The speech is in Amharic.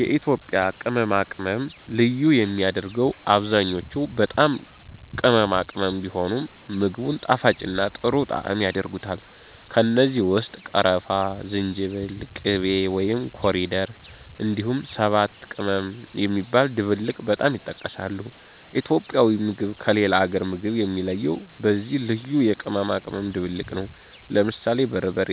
የኢትዮጵያ ቅመማ ቅመም ልዩ የሚያደርገው አብዛኛዎቹ በጣም ቅመማ ቅመም ቢሆኑም፣ ምግቡን ጣፋጭና ጥሩ ጣዕም ያደርጉታል። ከእነዚህ ውስጥ ቀረፋ፣ ዝንጅብል፣ ቂቤ (ኮሪደር)፣ እንዲሁም ሰባት ቅመም የሚባለው ድብልቅ በጣም ይጠቀሳሉ። ኢትዮጵያዊ ምግብ ከሌላ አገር ምግብ የሚለየው በዚህ ልዩ የቅመማ ቅመም ድብልቅ ነው። ለምሳሌ በርበሬ፣